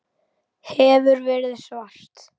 Hefur verið svart.